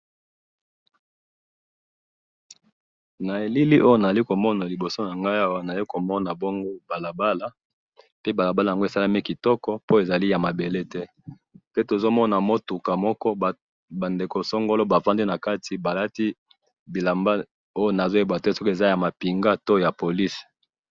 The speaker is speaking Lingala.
Elili oyo nazali komona awa liboso nanga, nazomona balabala pe balabala yango asalemi kitoko, po eza yamabele te, pe tozomona mutuka moko, bandeko songolo bavandi nakati balati bilamba oyo nazoyebate soki eza yamapinga to ya police